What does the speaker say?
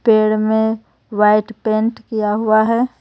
पेड़ में white paint किया हुआ है.